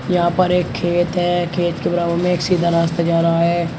यहां पर एक खेत है खेत के बराबर में एक सीधा रास्ता जा रहा है।